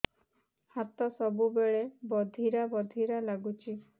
ହାତ ସବୁବେଳେ ବଧିରା ବଧିରା ଲାଗୁଚି